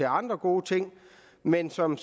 andre gode ting men som